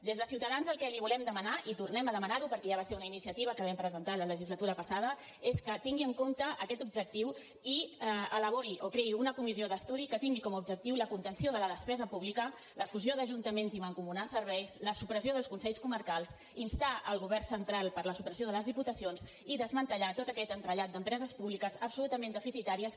des de ciutadans el que li volem demanar i tornem a demanar ho perquè ja va ser una iniciativa que vam presentar la legislatura passada és que tingui en compte aquest objectiu i elabori o creï una comissió d’estudi que tingui com a objectiu la contenció de la despesa pública la fusió d’ajuntaments i mancomunar serveis la supressió dels consells comarcals instar el govern central a la supressió de les diputacions i desmantellar tot aquest entrellat d’empreses públiques absolutament deficitàries que